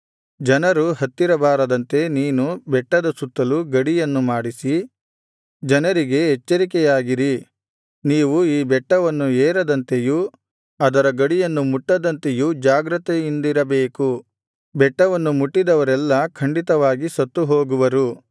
ಜನರು ಹತ್ತಿರ ಬಾರದಂತೆ ನೀನು ಬೆಟ್ಟದ ಸುತ್ತಲೂ ಗಡಿಯನ್ನು ಮಾಡಿಸಿ ಜನರಿಗೆ ಎಚ್ಚರಿಕೆಯಾಗಿರಿ ನೀವು ಈ ಬೆಟ್ಟವನ್ನು ಏರದಂತೆಯೂ ಅದರ ಗಡಿಯನ್ನು ಮುಟ್ಟದಂತೆಯೂ ಜಾಗ್ರತೆಯಿಂದಿರಬೇಕು ಬೆಟ್ಟವನ್ನು ಮುಟ್ಟಿದವರೆಲ್ಲಾ ಖಂಡಿತವಾಗಿ ಸತ್ತುಹೋಗುವರು